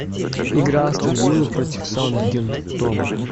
игра астон виллы против саутгемптона